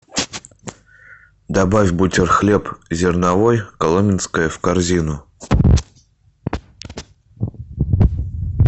добавь бутерхлеб зерновой коломенское в корзину